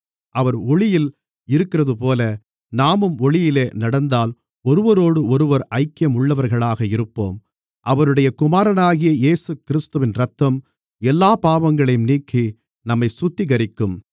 அவர் ஒளியில் இருக்கிறதுபோல நாமும் ஒளியிலே நடந்தால் ஒருவரோடொருவர் ஐக்கியம் உள்ளவர்களாக இருப்போம் அவருடைய குமாரனாகிய இயேசுகிறிஸ்துவின் இரத்தம் எல்லாப் பாவங்களையும் நீக்கி நம்மைச் சுத்திகரிக்கும்